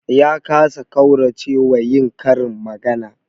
Ya kasa ƙaurace wa yin karin magana